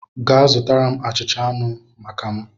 Gaa zụta achịcha anụ maka m!